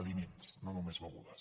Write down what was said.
aliments no només begudes